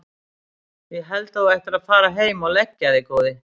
Ég held að þú ættir að fara heim og leggja þig góði!